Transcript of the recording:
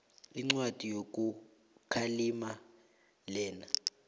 incwadi yokukhalima lena